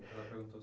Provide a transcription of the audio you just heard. Ela perguntou